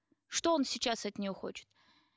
что он сейчас от нее хочет